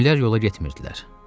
Günüllər yola getmirdilər.